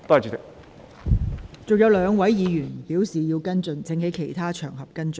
尚有兩位議員正在輪候提問，請他們在其他場合跟進。